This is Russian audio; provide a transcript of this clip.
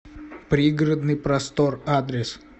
пригородный простор адрес